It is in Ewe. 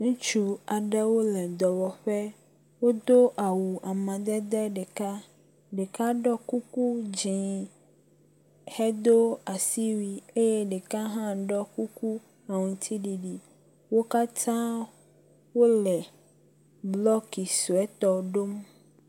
Ŋutsu aɖewo le dɔwɔƒe. Wodo awu amaedede ɖeka. Ɖeka ɖɔ kuku dzi hedo asiwui eye ɖeka hã ɖɔ kuku aŋtsiɖiɖi. Wo katã wo le blɔki suetɔ ɖom.